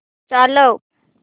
चालव